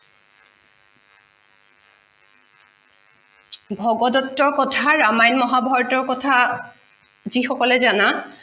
ভগদট্তৰ কথা ৰামায়ণ মহাভাৰতৰ কথা যি সকলে জানা